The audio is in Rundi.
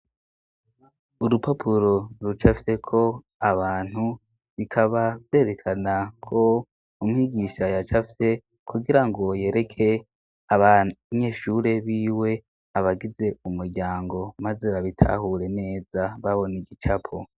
Urupapuro rucafyeko abantu, bikaba vyerekana ko umwigisha yacafye kugira ngo yereke abanyeshure biwe abagize umuryango, maze babitahure neza babona igicapo.